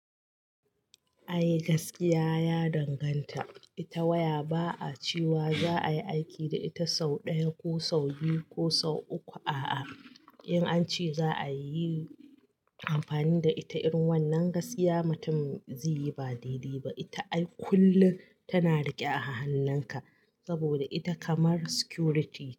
A yi gaskiya, ya danganta. Ita waya ba'a cewa za a yi aiki da ita sau ɗaya ko sau biyu ko sau uku, a'a. In an ce za a yi amfani da ita irin wannan gaskiya mutum zai yi ba daidai ba. Ita ai kullum tana riƙe a hannunka saboda ita kamar security ce.